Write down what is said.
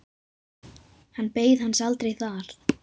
Hann beið hans aldrei þar.